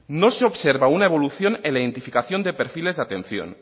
no se observa una evolución en la identificación de perfiles de atención